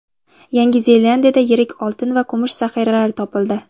Yangi Zelandiyada yirik oltin va kumush zaxiralari topildi.